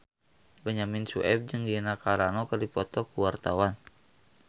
Benyamin Sueb jeung Gina Carano keur dipoto ku wartawan